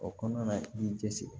O kɔnɔna na i b'i cɛ siri